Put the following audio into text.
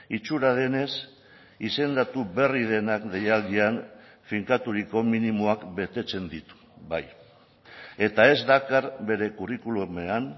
itxura denez izendatu berri denak deialdian finkaturiko minimoak betetzen ditu bai eta ez dakar bere curriculumean